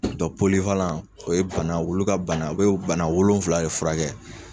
o bana, olu ka bana, u bɛ bana wolonfila de furakɛ